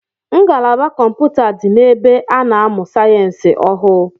Ngalaba kọmpụta di n’ebe a na-amụ sayensi ọhụụ